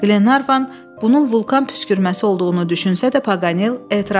Qlenarvan bunun vulkan püskürməsi olduğunu düşünsə də, Paqanel etiraz etdi.